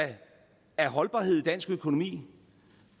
er holdbarhed i dansk økonomi